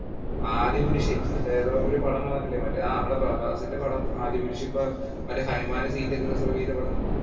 ആദിപുരുഷ്. മറ്റേ ഏതോ ഒരു പടം വന്നിട്ടില്ലേ. നമ്മടെ പ്രഭാസിന്റെ പടം ആദിപുരുഷ്. ഇപ്പം മറ്റേ ചെയ്ത പടം.